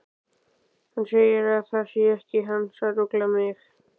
Hann segir að það sé ekki hans að rugla mig.